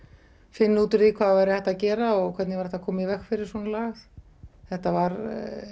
finna út úr því hvað væri hægt að gera og hvernig væri hægt að koma í veg fyrir svona lagað þetta var